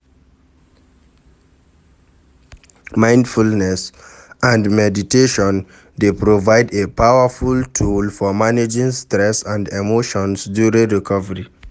Mindfulness and meditation dey provide a powerful tool for managing stress and emotions during recovery.